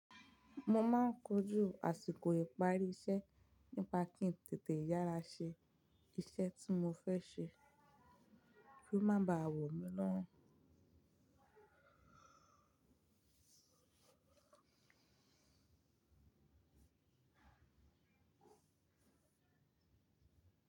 Mo máa ń kojú àsìkò ìparí iṣẹ́ nípa kí n tètè yára ṣe iṣẹ́ tí mo fẹ́ ṣe kí ó má bàa wọ̀ mí lórùn.